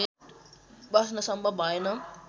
बस्न सम्भव भएन